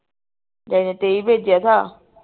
daddy ਨੇ ਤੇਈ ਭੇਜਿਆ ਥਾ